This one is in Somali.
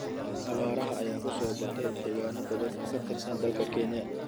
Abaaraha ayaa ku soo batay deegaano badan oo ka tirsan dalka Kenya.